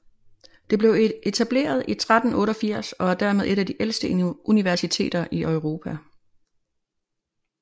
Det blev etableret i 1388 og er dermed et af de ældste universiteter i Europa